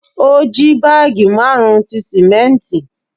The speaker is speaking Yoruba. O ji baagi marun ti simẹnti